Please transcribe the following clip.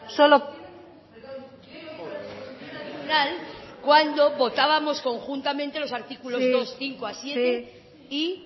solo cuando votábamos conjuntamente los artículos dos cinco a siete y